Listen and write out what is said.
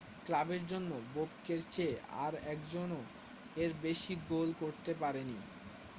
ক্লাবের জন্য বোবকের চেয়ে আর একজনও এর বেশি গোল করতে পারেনি